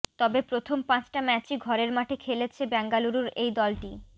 তবে প্রথম পাঁচটা ম্যাচই ঘরের মাঠে খেলেছে বেঙ্গালুরুর এই দলটি